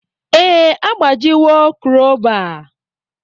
Ee, agbajiwo kroba.